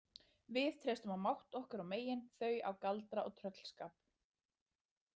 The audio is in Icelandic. Við treystum á mátt okkar og megin, þau á galdra og tröllskap.